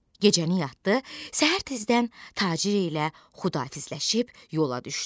Gecəni yatdı, səhər tezdən tacir ilə xudahafizləşib yola düşdü.